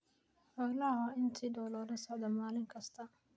Xoolaha waa in si dhow loola socdo maalin kasta.